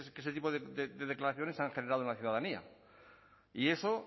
que este tipo de declaraciones han generado en la ciudadanía y eso